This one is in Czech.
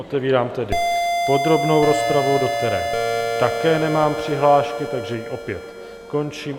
Otevírám tedy podrobnou rozpravu, do které také nemám přihlášky, takže ji opět končím.